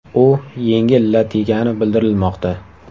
U yengil lat yegani bildirilmoqda.